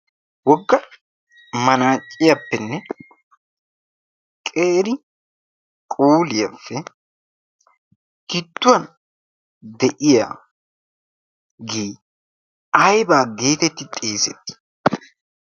Wogga manaacciyaappenne qeri quuliyaappe gidduwan de'iyage aybaa geetetti xeesetti?